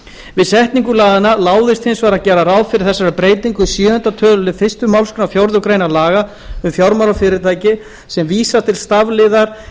við setningu laganna láðist hins vegar að gera ráð fyrir þessari breytingu í sjöunda töluliðar fyrstu málsgrein fjórðu grein laga um fjármálafyrirtæki sem vísar til stafliðar